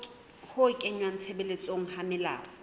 ho kenngwa tshebetsong ha melao